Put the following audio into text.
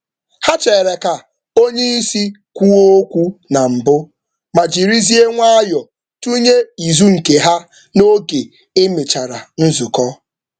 Ha kwere ka oga kwuo okwu na mbụ ma jiri nwayọọ nye aro mgbe nzukọ ahụ gasịrị.